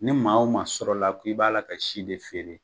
Ni maa o maa sɔrɔla k'i b'a la ka si de feere